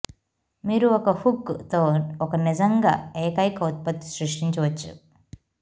మీరు ఒక హుక్ తో ఒక నిజంగా ఏకైక ఉత్పత్తి సృష్టించవచ్చు